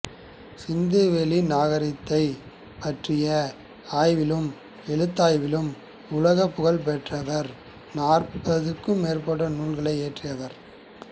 சிந்துவெளி நாகரிகத்தைப் பற்றிய ஆய்விலும் எழுத்தாய்விலும் உலகப்புகழ் பெற்றவர் நாற்பதுக்கும் மேற்பட்ட நூல்களை இயற்றியவர்